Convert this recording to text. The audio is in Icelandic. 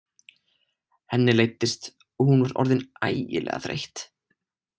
Henni leiddist og hún var orðin ægilega þreytt.